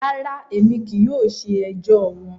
Rara, Emi kii yóò ṣe ẹjọ wọn.